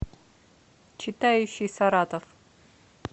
читающий саратов